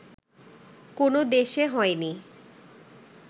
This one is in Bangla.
কোনো দেশে হয়নি